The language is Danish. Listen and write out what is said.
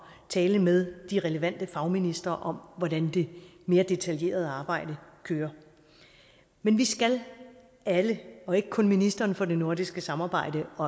tale med de relevante fagministre om hvordan det mere detaljerede arbejde kører men vi skal alle og ikke kun ministeren for det nordiske samarbejde og